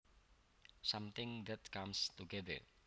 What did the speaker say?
Something that comes together